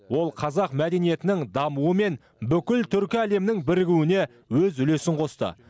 ол қазақ мәдениетінің дамуы мен бүкіл түркі әлемінің бірігуіне өз үлесін қосты